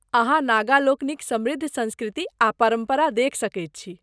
अहाँ नागा लोकनिक समृद्ध संस्कृति आ परम्परा देखि सकैत छी।